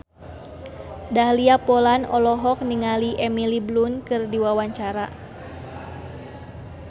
Dahlia Poland olohok ningali Emily Blunt keur diwawancara